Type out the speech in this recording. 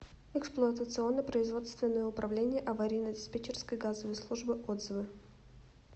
эксплуатационно производственное управление аварийно диспетчерской газовой службы отзывы